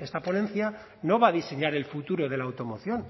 esta ponencia no va a diseñar el futuro de la automoción